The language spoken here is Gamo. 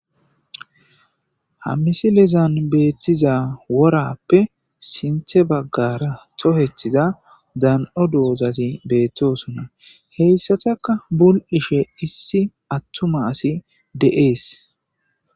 ha misilezan beettiza worappe sinthe baggara tohethiza dan7o doozati beettosonna. Heyssataka bul'ishe issi attuma asi de'ees.